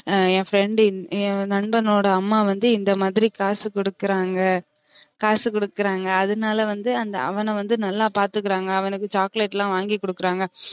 என் friend என் நண்பனோட அம்மா வந்து இந்த மாதிரி காசு குடுக்குறாங்க காசு குடுக்குறாங்க அதுனால வந்து அவன வந்து நல்லா பாத்துகிறாங்க அவனுக்கு chocolate லாம் வாங்கி கொடுக்குறாங்க